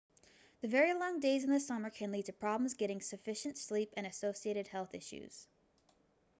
the very long days in the summer can lead to problems getting sufficient sleep and associated health issues